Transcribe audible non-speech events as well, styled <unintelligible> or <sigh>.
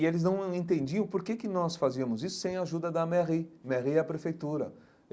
E eles não <unintelligible> entendiam por que que nós fazíamos isso sem a ajuda da Merri, Merri é a prefeitura.